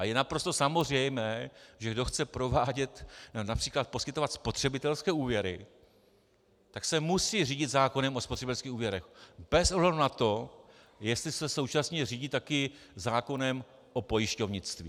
A je naprosto samozřejmé, že kdo chce provádět - například poskytovat spotřebitelské úvěry, tak se musí řídit zákonem o spotřebitelských úvěrech bez ohledu na to, jestli se současně řídí také zákonem o pojišťovnictví.